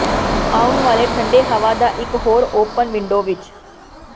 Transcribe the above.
ਆਉਣ ਵਾਲੇ ਠੰਡੇ ਹਵਾ ਦਾ ਇਕ ਹੋਰ ਓਪਨ ਵਿੰਡੋ ਵਿੱਚ